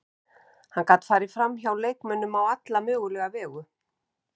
Hann gat farið framhjá leikmönnum á alla mögulega vegu.